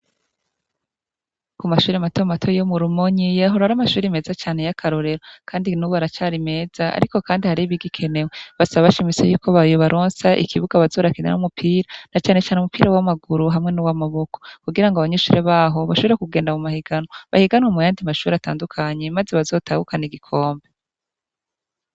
Ku mashuri mato mato yo murumonyi yahora ari amashuri meza cane y'akarorero kandi nubu aracari meza ariko kandi hari n' ibigikenewe basaba bashimitse y'uko yobaronsa ikibuga bazoza barakiniramwo umupira na cane cane umupira w'amaguru hamwe n'uw'amaboko kugira ngo abanyeshure baho bashobore kugenda mu mahigano bahiganwe mu yandi mashuri atandukanye maze bazotahukana igikombe.